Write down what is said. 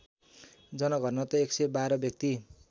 जनघनत्व ११२ व्यक्ति